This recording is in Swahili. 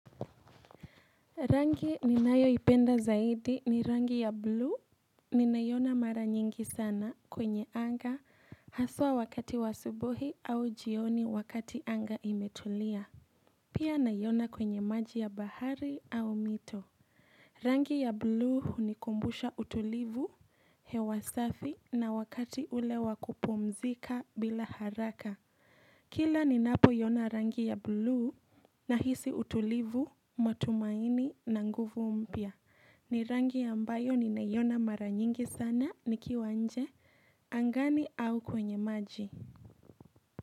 Rangi ni nayoipenda zaidi ni rangi ya blue ninaiona mara nyingi sana kwenye anga haswa wakati wa subuhi au jioni wakati anga imetulia. Pia nayona kwenye maji ya bahari au mito. Rangi ya blue ni hunikumbusha utulivu, hewa safi na wakati ule wakupumzika bila haraka. Kila ni napo yona rangi ya blue na hisi utulivu, matumaini na nguvu mpya. Ni rangi ambayo ninaiona mara nyingi sana nikiwa nje, angani au kwenye maji.